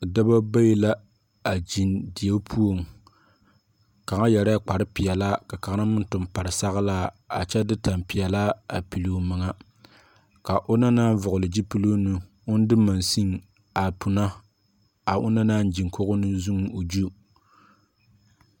Dɔba bayi la a zen deɛ puo kanga yere kpare peelaa ka kanga meng tung pare sɔglaa a kye de tanpeɛlaa a pili ɔ menga ka ɔna nang vɔgle zupiluu nu ɔn de machine a puna a ɔn na nang zeng kogo ne ɔ zu.